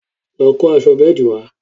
lọ kó aṣọ bẹ́ẹ̀dì wa